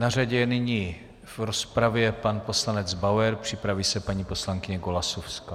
Na řadě je nyní v rozpravě pan poslanec Bauer, připraví se paní poslankyně Golasowská.